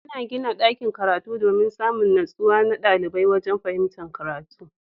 Ana gina dakin karatu domin Samin nutsuwa na ɗalibai wajan fahimtar karatu